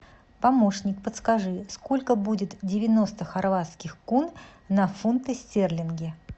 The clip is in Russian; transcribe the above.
помощник подскажи сколько будет девяносто хорватских кун на фунты стерлинги